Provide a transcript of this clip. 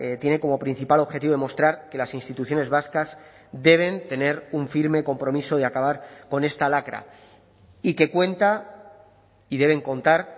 tiene como principal objetivo demostrar que las instituciones vascas deben tener un firme compromiso de acabar con esta lacra y que cuenta y deben contar